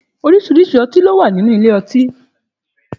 Òrisirisí õtí lò wá nínú ìlé õtí